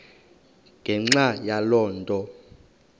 ngenxa yaloo nto